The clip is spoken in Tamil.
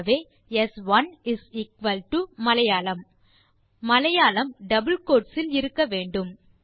ஆகவே ஸ்1 is equal to Malayalam Malayalam double quotes இல் இருக்க வேண்டும்